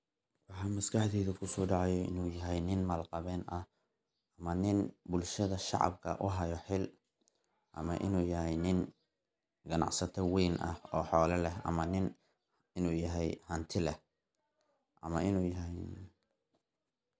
Maxa maskaxdeydha kusodacayo inu yaxay nin mal qawen axx, ama nin bulshadha shacabka uxayo xiil, ama inu yaxay nin qanacsata wen axx, o xoola lex, ama nin inu yaxay xoola lex.